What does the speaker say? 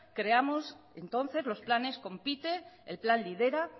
creamos entonces los planes compite el plan lidera